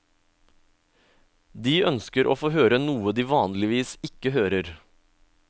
De ønsker å få høre noe de vanligvis ikke hører.